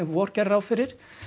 vor gerði ráð fyrir